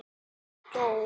Konan hló léttum hlátri.